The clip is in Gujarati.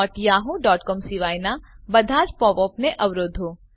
wwwyahoocom સિવાયનાં બધાજ પોપ અપ ને અવરોધો